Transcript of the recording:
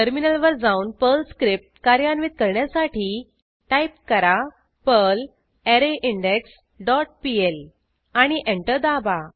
टर्मिनलवर जाऊन Perl script कार्यान्वित करण्यासाठी टाईप करा पर्ल अरेन्डेक्स डॉट पीएल आणि एंटर दाबा